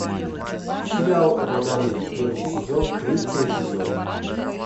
сериал водолей первый сезон третий эпизод